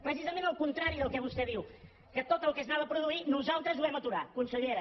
precisament al contrari del que vostè diu que tot el que s’anava a produir nosaltres ho vam aturar consellera